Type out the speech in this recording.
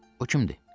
O kimdir?